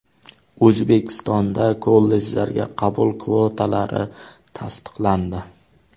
O‘zbekistonda kollejlarga qabul kvotalari tasdiqlandi.